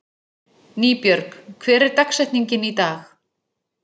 Nýbjörg, hver er dagsetningin í dag?